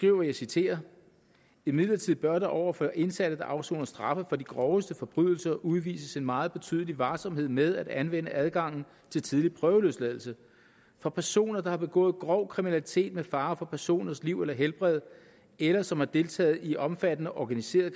jeg og jeg citerer imidlertid bør der over for indsatte der afsoner straffe for de groveste forbrydelser udvises en meget betydelig varsomhed med at anvende adgangen til tidlig prøveløsladelse for personer der har begået grov kriminalitet med fare for personers liv eller helbred eller som har deltaget i omfattende organiseret